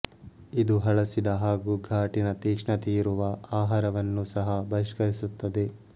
ಇದು ಹಳಸಿದ ಹಾಗು ಘಾಟಿನ ತೀಕ್ಷ್ಣತೆಯಿರುವ ಆಹಾರವನ್ನೂ ಸಹ ಬಹಿಷ್ಕರಿಸುತ್ತದೆ